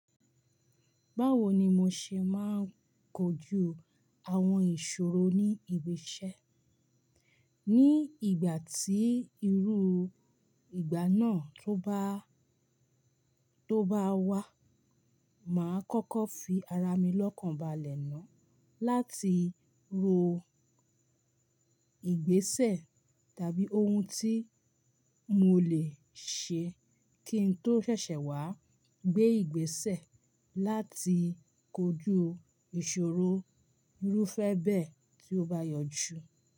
Báwo ni mo ṣe máa ń kojú àwọn ìṣòro ní ìgbésẹ̀? Igba na toba wa, màá kọ́kọ́ fi ara mi lọ́kàn balẹ̀ náà láti ro ìgbésẹ̀ tàbí ohun tí mo lè ṣe kí n tó ṣẹ̀ṣẹ̀ wá gbé ìgbésẹ̀ láti kojú ìṣòro irúfẹ́ bẹ́ẹ̀ tí ó bá yọjú.